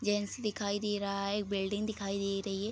Gents दिखाई दे रहा है एक बिल्डिंग दिखाई दे रही है।